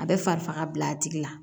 A bɛ fari faga bi a tigi la